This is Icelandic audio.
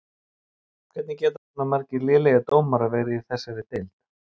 Hvernig geta svona margir lélegir dómarar verið í þessari deild?